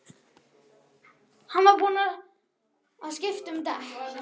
Hann var búinn að skipta um dekk.